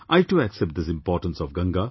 I too accept this importance of Ganga